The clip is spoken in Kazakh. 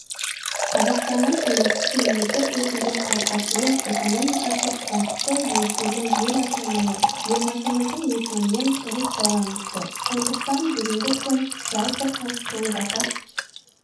қазақстанның тәуелсіз мемлекет ретінде қалыптасуы экономикасы қуатты еңселі ел атануы елбасымыздың есімімен тығыз байланысты сондықтан бүгінгі күн жалпы халық болып атап